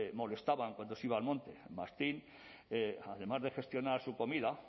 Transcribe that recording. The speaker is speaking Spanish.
molestaban cuando se iba al monte el mastín además de gestionar su comida